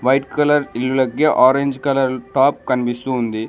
Red colour ఇళ్ళకి orange colour top కనిపిస్తూ ఉంది.